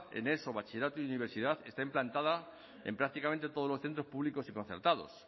en eso bachillerato y universidad está implantada en prácticamente todos los centros públicos y concertados